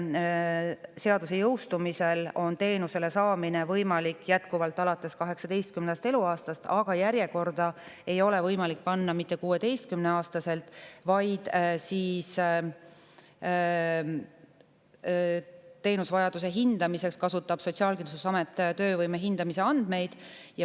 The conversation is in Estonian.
Seaduse jõustumisel on võimalik teenust saada jätkuvalt alates 18. eluaastast, aga järjekorda ei ole võimalik 16-aastaselt panna, vaid teenuse vajaduse hindamiseks kasutab Sotsiaalkindlustusamet töövõime hindamise andmeid.